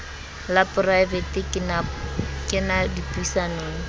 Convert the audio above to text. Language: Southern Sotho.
la poraevete ke na dipuisanong